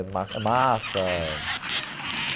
É ma massa.